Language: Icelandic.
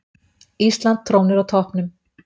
Ísland trónir á toppnum